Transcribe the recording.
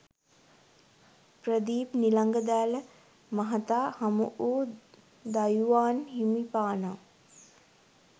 ප්‍රදීප් නිලංග දෑල මහතා හමුවූ දයුවාන් හිමිපාණෝ